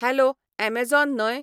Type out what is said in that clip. hello Amazon न्हय